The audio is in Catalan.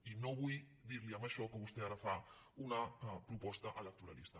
i no vull dir·li amb això que vostè ara fa una proposta electoralista